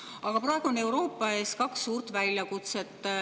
Aga praegu on Euroopa ees kaks suurt väljakutset.